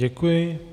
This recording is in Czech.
Děkuji.